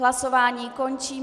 Hlasování končím.